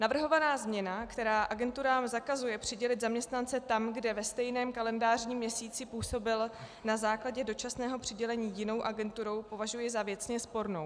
Navrhovaná změna, která agenturám zakazuje přidělit zaměstnance tam, kde ve stejném kalendářním měsíci působil na základě dočasného přidělení jinou agenturou, považuji za věcně spornou.